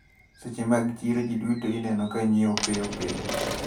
Seche mag chiro jiduto ineno kanyiewo piyopiyo.